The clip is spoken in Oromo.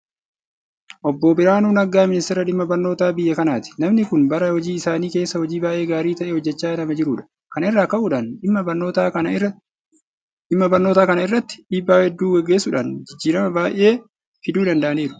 Obboon biraanuu naggaa miniisteera dhimma barnootaa biyya kanaati. Namni kun bara hojii isaanii keessa hojii baay'ee gaarii ta'e hojjechaa nama jirudha. Kana irraa ka'uudhaan dhimma barnootaa kana irratti dhiibbaa hedduu gaggeessuudhaan jijjiirama baay'ee fiduu danda'aniiru.